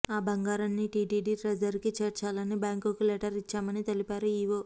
ఆ బంగారాన్ని టీటీడీ ట్రెజరీకి చేర్చాలని బ్యాంకుకు లేటర్ ఇచ్చామని తెలిపారు ఈవో